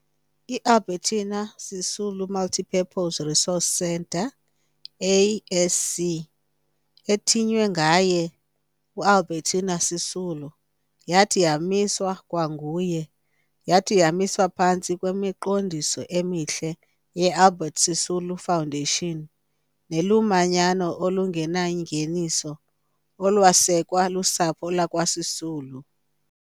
IAlbertina Sisulu Multipurpose Resource Centre, ASC, ethiywe ngaye uAlbertina Sisulu, yathi yamiswa kwanguye. Yathi yamiswa phantsi kwemiqondiso emihle yeAlbertina Sisulu Foundation nelumanyano olungenangeniso olwasekwa lusapho lakwaSisulu.